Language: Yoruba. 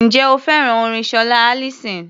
Ǹjẹ́ o fẹ́ràn orin Ṣọlá Allyson?